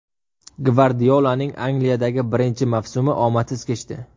Gvardiolaning Angliyadagi birinchi mavsumi omadsiz kechdi.